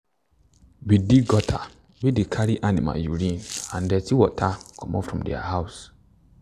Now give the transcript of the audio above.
we dig gutter wey dey carry animal urine and dirty water comot from their house.